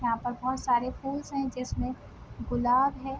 यहाँ पर बहुत सारे फूल्स है जिसमे गुलाब है।